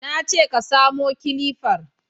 Na ce ka samo kilifar